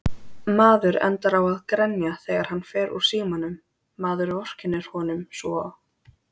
Maður endar á að grenja þegar hann fer úr símanum, maður vorkennir honum svo.